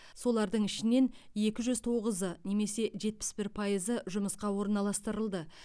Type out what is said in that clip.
солардың ішінен екі жүз тоғызы немесе жетпіс бір пайызы жұмысқа орналастырылды